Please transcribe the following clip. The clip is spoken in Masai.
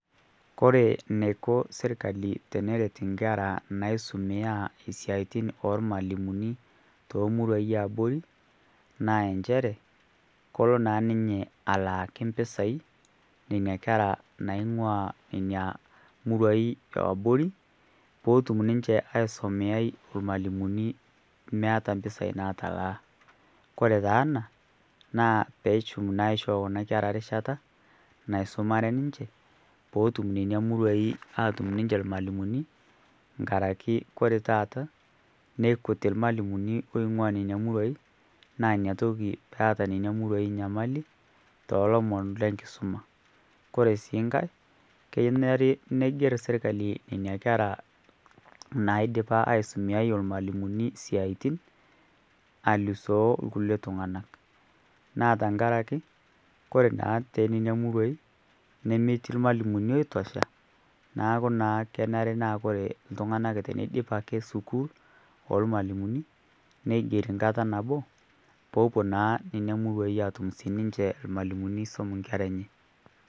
kore neiko sirkali neiko teneret nkera naisumiyaa e siayatin oormalimuni too muruai ee eabori naa enshere kolo naa ninye alaaki mpisai nenia kera naingua inia muruai e aborii peetum ninshe aisomeyai e lmaalumoni eneata mpisai natalaa kore taa anaa peetum naa aishoo kuna kera rishata naisomare ninshe peetum nenia muruai atum ninshe lmaalimoni ngarake kore taata neikutii lmalimoni loingua nenia muruai naa inia tokii naa inia toki peata nenia muruai nyamali te lomon lenkisoma kore sii nghai kenere neiger sirkali nenia kera naidipa aisomeyai olmaalimoni siatin alusoo lkulie tunganak naa tankarake kore naa te nenia muruai nemetii lmaalimoni eitosha naaku naa kenere naa kore ltungana k teneidip ke sukuul olmaalimoni neigeri nkata naboo peepuo naa nenia muruai aatum sii ninshee lmaalimoni eisom nkera enye